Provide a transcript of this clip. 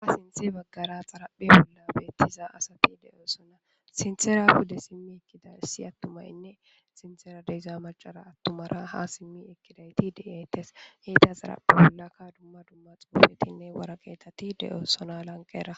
ha sinthi baggara xaraphe bolla beettiza asati de7oosona sinthera hude simmi ekkiday si attumayinne sintera deza macara attumara ha simmi ekkidayti deeytes heyta xaraphe bollaka dumma dumma xuufetinne wara qeetati de7oosona lanqera